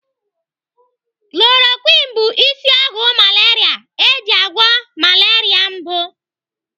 Chloroquine bụ isi ọgwụ malaria eji agwọ malaria mbụ.